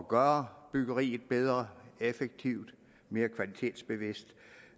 gøre byggeriet bedre effektivt og mere kvalitetsbevidst